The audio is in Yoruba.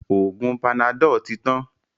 Oògùn panadol tí tán.